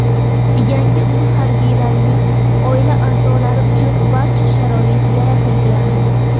Yangi uyda harbiylarning oila a’zolari uchun barcha sharoit yaratilgan.